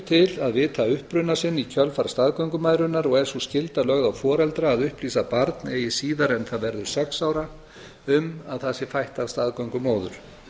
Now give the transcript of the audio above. til að vita uppruna sinn í kjölfar staðgöngumæðrunar og er sú skylda lögð á foreldra að upplýsa barn eigi síðar en það verður sex ára um að það sé fætt af staðgöngumóður